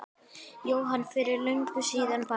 Jóhanna: Fyrir löngu síðan bara?